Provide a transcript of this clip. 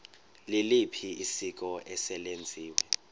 liliphi isiko eselenziwe